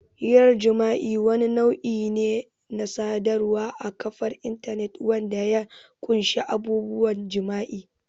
Hirar jima'i wani nau'i ne na sadarwar a kafar intanet wanda ya ƙunshi abubuwan jima'i.